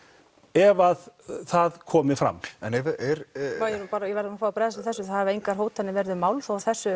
ef það komi fram ég verð að bregðast við þessu það hafa engar hótanir verið um málþóf á þessu